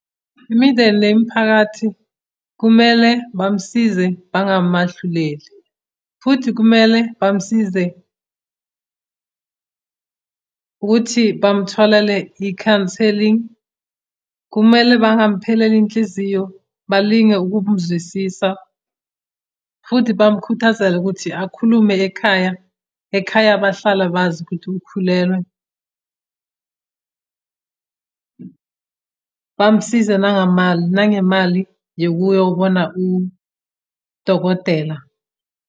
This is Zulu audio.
Imindeni nemiphakathi kumele bamsize bangamahluleli futhi kumele bamsize ukuthi bamtholele i-counselling. Kumele bangamupheleli inhliziyo balinge ukum'zwisisa, futhi bamukhuthazele ukuthi akhulume ekhaya, ekhaya bahlala bazi ukuthi ukhulelwe bamsize nangemali yokuyobona udokotela.